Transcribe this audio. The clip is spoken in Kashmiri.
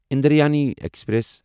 اندرایانی ایکسپریس